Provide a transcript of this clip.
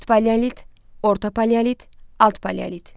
Üst paleolit, orta paleolit, alt paleolit.